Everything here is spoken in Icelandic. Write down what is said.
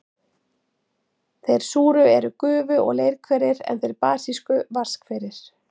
Þeir súru eru gufu- og leirhverir, en þeir basísku vatnshverir.